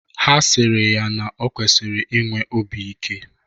Ha sịrị ya na ị kwesịkwara inwe obi ike